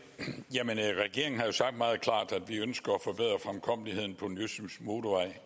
regeringen har jo sagt meget klart at vi ønsker at forbedre fremkommeligheden på den østjyske motorvej